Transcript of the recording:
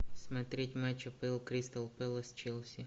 смотреть матч апл кристал пэлас челси